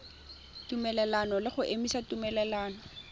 tumelelano le go emisa tumelelano